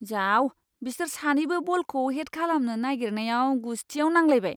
जाव! बिसोर सानैबो बलखौ हेड खालामनो नागिरनायाव गुस्थियाव नांलायबाय।